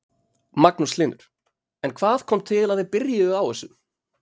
Magnús Hlynur: En hvað kom til að þið byrjuðu á þessu?